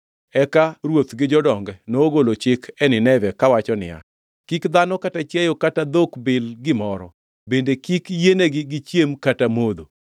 Eka ruoth gi jodonge nogolo chik e Nineve kawacho niya: “Kik dhano kata chiayo kata dhok bil gimoro, bende kik yienegi gichiem kata modho.